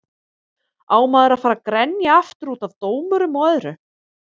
Á maður að fara að grenja aftur útaf dómurum og öðru?